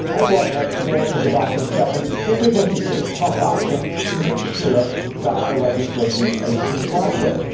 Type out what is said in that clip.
I want to be able to go back and tell them that we are going to take tough action to make sure that the legislation is complied with.